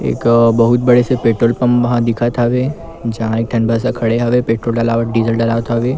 एक बहुत बड़े से पेट्रोल पंप ह दिखत हवे जहा एक ठन बस ह खड़े हवे पेट्रोल दलावत डीज़ल दलवात हवे ।